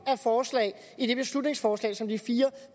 af forslag i det beslutningsforslag som de fire